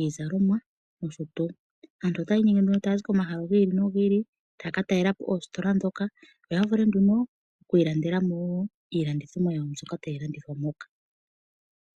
iizalomwa nosho tuu. Aantu otaya inyenge taya zi komahala gi ili nogi ili taya ka talela po oositola ndhoka, opo ya vule nduno okuilandela iilandithomwa mbyoka tayi landithwa moka.